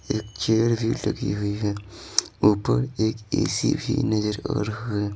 एक चेयर भी लगी हुई है ऊपर एक ए_सी भी नजर आ रहा है।